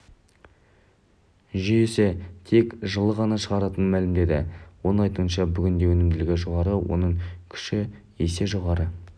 жүйесі тек жылы ғана шығатынын мәлімдеді оның айтуынша бүгінде өнімділігі жоғары оның күші есе жоғары